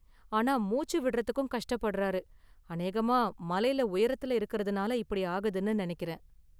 ஆனா, மூச்சு விடுறதுக்கும் கஷ்டப்படுறார், அநேகமா மலைல உயரத்துல இருக்கறதுனால இப்படி ஆகுதுனு நினைக்கிறேன்.